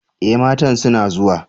E! matan suna zuwa.